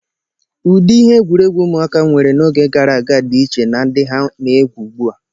Ụdị ihe egwuregwu ụmụaka nwere n'oge gara aga dị iche na ndị ha na-egwu ugbu a.